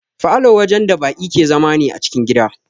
Falow wajen da baki ke zama ne a cikin gida